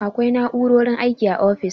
Akwai na'u'rorin aiki a ofis.